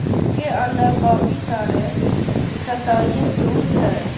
जिसके अंदर काफी सारे एक्सरसाईज़िंग टूल्स है।